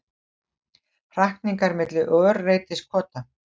Hrakningar milli örreytiskota.